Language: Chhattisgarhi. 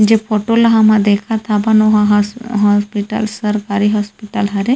जो फोटो ल हमा देखा थन ओहर हॉस्पिटल सरकारी हॉस्पिटल हरे--